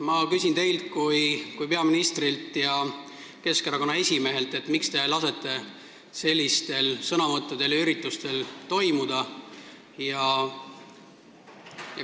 Ma küsin teilt kui peaministrilt ja Keskerakonna esimehelt, miks te lasete sellistel sõnavõttudel ja üritustel toimuda.